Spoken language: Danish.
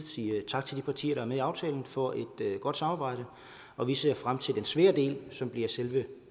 sige tak til de partier med i aftalen for et godt samarbejde og vi ser frem til den svære del som bliver selve